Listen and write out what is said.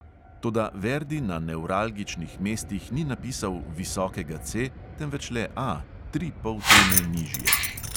Toda verdi na nevralgičnih mestih ni napisal visokega C, temveč le A, tri poltone nižje.